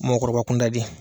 Mɔgɔkɔrɔba kunda de